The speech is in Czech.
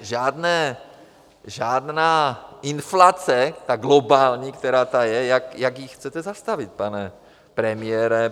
Takže žádná inflace, ta globální, která tu je - jak ji chcete zastavit, pane premiére?